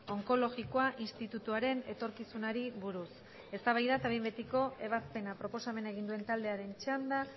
onkologikoa institutuaren etorkizunari buruz eztabaida eta behin betiko ebazpena proposamena egin duen taldearen txanda